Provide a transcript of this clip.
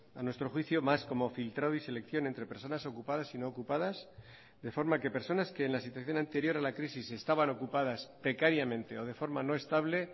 a nuestro juicio más como filtrado y selección entre personas ocupadas y no ocupadas de forma que personas que en la situación anterior a la crisis estaban ocupadas precariamente o de forma no estable